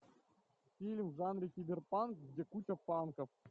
фильм в жанре киберпанк где куча панков